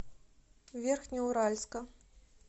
верхнеуральска